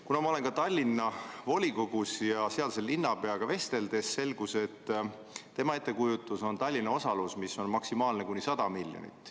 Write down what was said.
Kuna ma kuulun ka Tallinna volikogusse, siis linnapeaga vesteldes selgus, et tema ettekujutuses on Tallinna osalus maksimaalselt kuni 100 miljonit eurot.